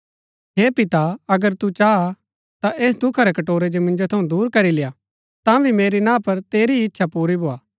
हे पिता अगर तु चाह ता ऐस दुखा रै कटोरै जो मिन्जो थऊँ दुर करी लेआ तांभी मेरी ना पर तेरी ही इच्छा पूरी भोआ